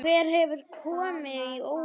Hver hefur komið á óvart?